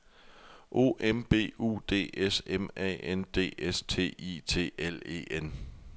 O M B U D S M A N D S T I T L E N